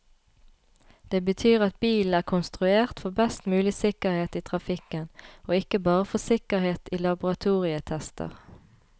Det betyr at bilen er konstruert for best mulig sikkerhet i trafikken, og ikke bare for sikkerhet i laboratorietester.